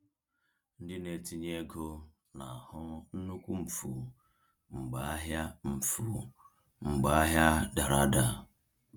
Ndị na-etinye ego na-ahụ nnukwu mfu mgbe ahịa mfu mgbe ahịa dara ada.